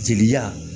Jeliya